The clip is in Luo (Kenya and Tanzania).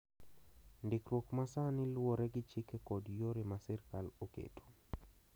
Ndikruok ma sani luwore gi chike kod yore ma sirkal oketo.